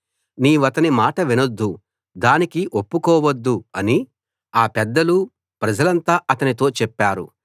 నీవతని మాట వినొద్దు దానికి ఒప్పుకోవద్దు అని ఆ పెద్దలూ ప్రజలంతా అతనితో చెప్పారు